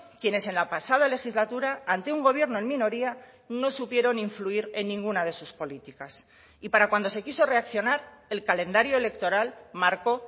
quienes en la pasada legislatura ante un gobierno en minoría no supieron influir en ninguna de sus políticas y para cuando se quiso reaccionar el calendario electoral marcó